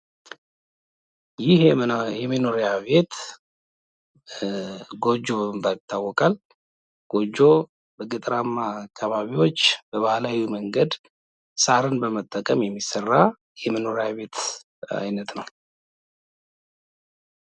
ይህ የመኖሪያ ቤት ጎጆ በመባል ይታወቃል። ጎጆ በገጠራማ አከባቢዎች በባህላዊ መንገድ ሳርን በመጠቀም የሚሰራ የመኖሪያ ቤት አይነት ነው።